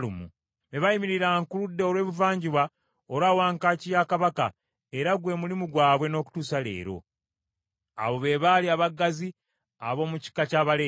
be baayimiriranga ku ludda olw’ebuvanjuba olwa wankaaki ya Kabaka, era gwe mulimu gwabwe n’okutuusa leero. Abo be baali abaggazi ab’omu kika ky’Abaleevi.